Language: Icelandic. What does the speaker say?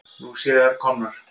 Nú séu þær komnar.